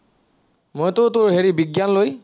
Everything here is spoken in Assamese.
মইতো তোৰ হেৰি বিজ্ঞান লৈ